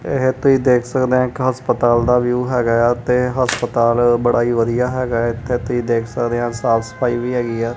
ਇਹ ਤੁਸੀਂ ਦੇਖ ਸਕਦੇ ਹੋ ਹਸਪਤਾਲ ਦਾ ਵਿਊ ਹੈਗਾ ਆ ਤੇ ਹਸਪਤਾਲ ਬੜਾ ਹੀ ਵਧੀਆ ਹੈਗੇ ਹੈ ਤੁਸੀ ਦੇਖ਼ ਸੱਕਦੇ ਕਿ ਸਾਫ ਸਫਾਈ ਵੀ ਹੈਗੀ ਆ।